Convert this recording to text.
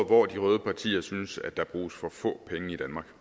hvor de røde partier synes at der bruges for få penge i danmark